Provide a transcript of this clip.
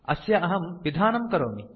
अस्य अहं पिधानं करोमि